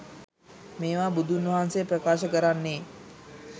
මේවා බුදුන් වහන්සේ ප්‍රකාශ කරන්නේ